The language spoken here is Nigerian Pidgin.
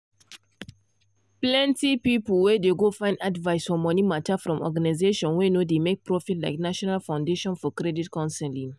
plenty pipu dey go find advice for money matter from organizations wey no dey make profit like national foundation for credit counseling.